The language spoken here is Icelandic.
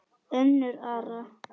Unnur Ara.